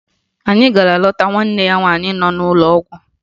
Anyị gara leta nwanne ya nwaanyị n'ụlọ ọgwụ